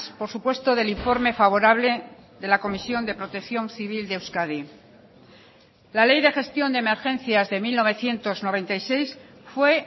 por supuesto del informe favorable de la comisión de protección civil de euskadi la ley de gestión de emergencias de mil novecientos noventa y seis fue